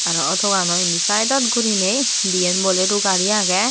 aro auto ganot indi sidedot guriney diyan bolero gari agey.